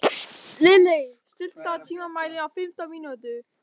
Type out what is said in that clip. Lilley, stilltu tímamælinn á fimmtán mínútur.